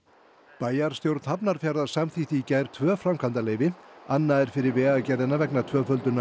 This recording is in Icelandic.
bæjarstjórn Hafnarfjarðar samþykkti í gær tvö framkvæmdaleyfi annað er fyrir Vegagerðina vegna tvöföldunar